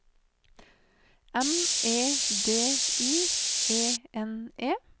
M E D I E N E